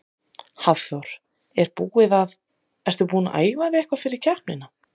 Hafþór: Er búið að, ertu búin að æfa þig eitthvað fyrir keppnina?